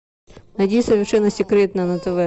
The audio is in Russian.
найди совершенно секретно на тв